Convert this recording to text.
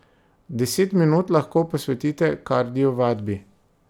Deset minut lahko posvetite kardio vadbi.